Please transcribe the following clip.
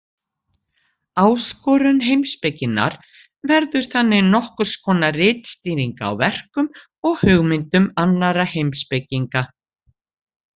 Ástundun heimspekinnar verður þannig nokkurs konar ritskýring á verkum og hugmyndum annarra heimspekinga.